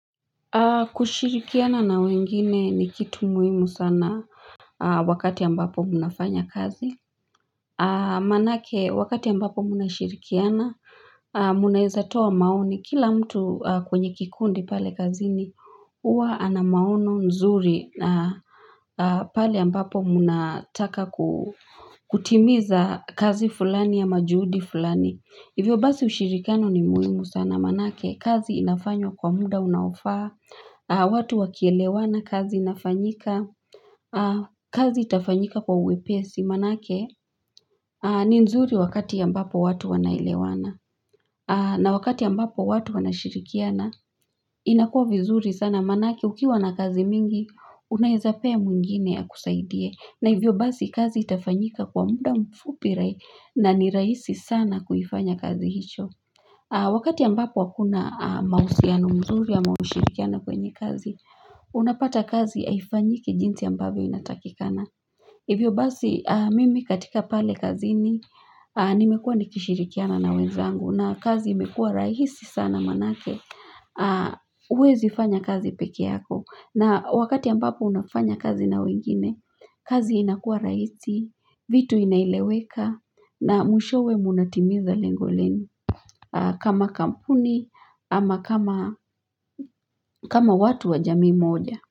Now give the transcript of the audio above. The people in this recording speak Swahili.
Kushirikiana na wengine ni kitu muhimu sana wakati ambapo munafanya kazi Manake wakati ambapo munashirikiana Muneza toa maoni Kila mtu kwenye kikundi pale kazini Uwa ana maono nzuri pale ambapo munataka kutimiza kazi fulani ya majuhudi fulani Hivyo basi ushirikiano ni muhimu sana Manake kazi inafanyo kwa muda unaofaa watu wakielewana kazi inafanyika kazi itafanyika kwa uwepesi Manake ni nzuri wakati yambapo watu wanaelewana na wakati yambapo watu wana shirikiana inakua vizuri sana manake ukiwa na kazi mingi Unaezapea mwingine akusaidie na hivyo basi kazi itafanyika kwa muda mfupira nani raisi sana kuyifanya kazi hicho Wakati yambapo akuna mausiano mzuri ya mausirikiano kwenye kazi unapata kazi aifanyiki jinsi yambavyo inatakikana hivyo basi mimi katika pale kazini nimekua nikishirikiana na wenzangu na kazi imekua rahisi sana manake uwezi fanya kazi peke yako na wakati ambapo unafanya kazi na wengine kazi inakua rahisi vitu inaileweka na mwishowe munatimiza lengo lenu kama kampuni ama kama watu wa jami moja.